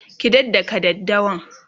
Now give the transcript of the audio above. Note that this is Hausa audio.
ki dakka daddawan!